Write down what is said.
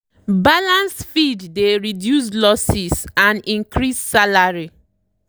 balanced feed dey reduce losses and increase salary